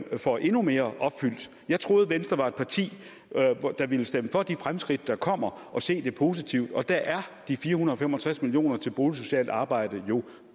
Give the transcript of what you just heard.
får endnu mere opfyldt jeg troede at venstre var et parti der ville stemme for de fremskridt der kommer og se det positive og der er de fire hundrede og fem og tres million kroner til boligsocialt arbejde jo